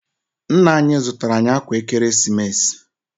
Nna anyị zụtara anyị ákwà Ekeresimesi.